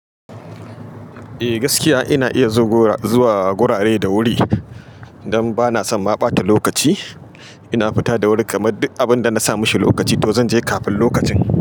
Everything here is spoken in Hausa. Eh gaskiya ina iya zuwa gurare da wuri don bana son ma ɓata lokaci. Ina fita da wuri kamar duk abinda nasa mashi lokaci to zan je kafin lokacin.